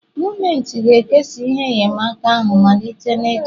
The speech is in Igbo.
Gọọmenti ga-ekesa ihe enyemaka ahụ malite n'echi